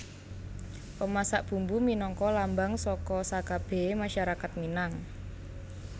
Pemasak Bumbu minangka lambang saka sakabèhé masyarakat Minang